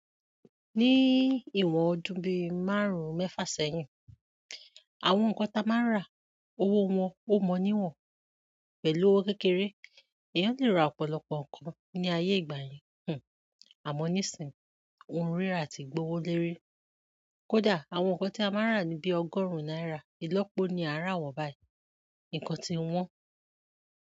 Ní ìwọ̀n ọdún bí márùn-ún mẹ́fà sẹ́yìn, àwọn nǹkan ta máa ń rà, owó wọn ó mọ níwọ̀n pẹ̀lú owó kékeré. Ẹ̀yán lè ra ọ̀pọ̀lọpọ̀ nǹkan ní ayé ìgbà yẹn, àmọ́ níìsín, ohun rírà ti gbowoléri. Kódà àwọn nǹkan tí a máa ń rà ní bí ọgọ́rùn-ún náírà, ìlọ́po ni à ń rà wọ́n báyìí. Ǹkan ti ń wọ́n.